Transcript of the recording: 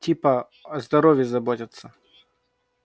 типа о здоровье заботятся